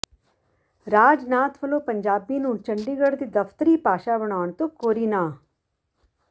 ਰਾਜਨਾਥ ਵੱਲੋਂ ਪੰਜਾਬੀ ਨੂੰ ਚੰਡੀਗੜ੍ਹ ਦੀ ਦਫ਼ਤਰੀ ਭਾਸ਼ਾ ਬਣਾਉਣ ਤੋਂ ਕੋਰੀ ਨਾਂਹ